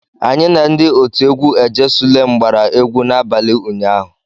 Anyị na ndị otu egwu "ejesulem gbara egwu n'abalị ụnyaahụ.